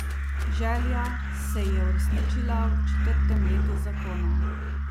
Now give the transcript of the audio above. Želja se ji je uresničila v četrtem letu zakona.